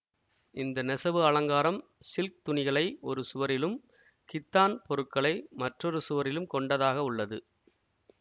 இந்த நெசவு அலங்காரம் சில்க் துணிகளை ஒரு சுவரிலும் கித்தான் பொருட்களை மற்றொரு சுவரிலும் கொண்டதாகவுள்ளது